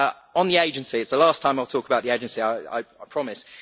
On the agency this is the last time I talk about the agency, I promise!